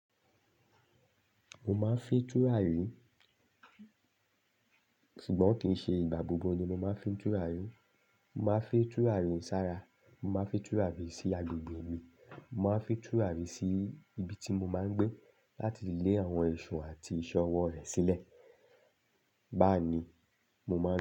Mo máa ń fi tùràrí, ṣùgbọ́n kì í ṣe ìgbà gbogbo ni mo máa ń fi tùràrí. Mo máa ń fi tùràrí sára, mo máa ń fi tùràrí sí agbègbè mi, mo máa ń fi tùràrí sí ibi tí mo máa ń gbé láti lé àwọn èṣù àti ìṣe ọwọ́ rẹ̀ sílẹ̀. Báa n ni mo máa ń.